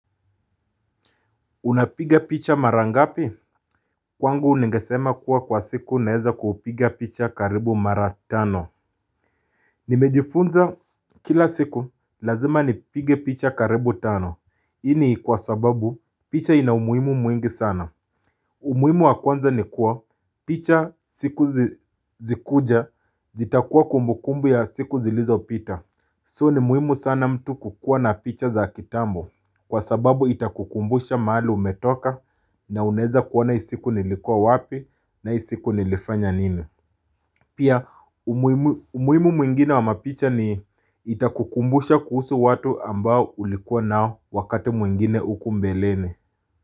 Unapiga picha mara ngapi? Kwangu ningesema kuwa kwa siku naweza kupiga picha karibu mara tano. Nimejifunza kila siku, lazima nipige picha karibu tano. Hii ni kwa sababu picha ina umuhimu mwingi sana. Umuhimu wa kwanza ni kuwa picha siku zikuja, zitakuwa kumbukumbu ya siku zilizo pita. So ni muhimu sana mtu kukua na picha za kitambo kwa sababu itakukumbusha mahali umetoka na unaweza kuona hiisiku nilikua wapi na hiisiku nilifanya nini. Pia umuhimu mwingine wa mapicha ni itakukumbusha kuhusu watu ambao ulikua nao wakati mwingine huku mbeleni.